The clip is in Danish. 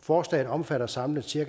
forslaget omfatter samlet cirka